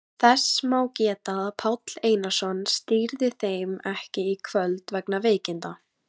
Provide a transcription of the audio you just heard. Þess má geta að Páll Einarsson stýrði þeim ekki í kvöld vegna veikinda.